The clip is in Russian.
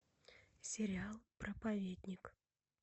сериал проповедник